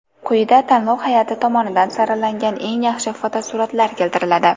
Quyida tanlov hay’ati tomonidan saralangan eng yaxshi fotosuratlar keltiriladi.